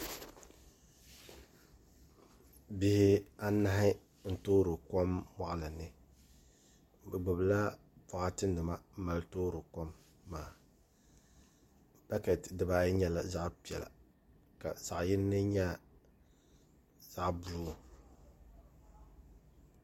Bihi anahi n toori kom moɣali ni bi gbubila boɣati nima n mali toori kom bakɛti dibaayi nyɛla zaɣ piɛla ka zaɣ yindi nyɛ zaɣ buluu